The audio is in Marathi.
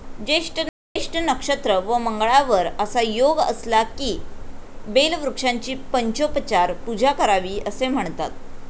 ज्येष्ठ नक्षत्र व मंगळावर असा योग असला, की बेलवृक्षांची पंचोपचार पूजा करावी असे म्हणतात.